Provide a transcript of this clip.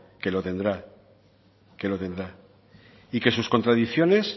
que lo tendrá y que sus contradicciones